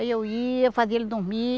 Aí eu ia, fazia ele dormir.